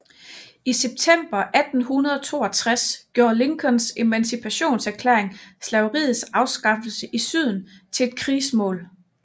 I september 1862 gjorde Lincolns Emancipationserklæring slaveriets afskaffelse i Syden til et krigsmål